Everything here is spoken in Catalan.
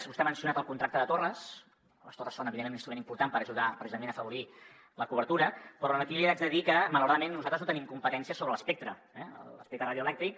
vostè ha mencionat el contracte de torres les torres són evidentment un instrument important per ajudar precisament a afavorir la cobertura però aquí li haig de dir que malauradament nosaltres no tenim competències sobre l’espectre l’espectre radioelèctric